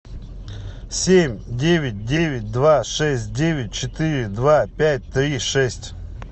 семь девять девять два шесть девять четыре два пять три шесть